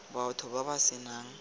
batho ba ba se nang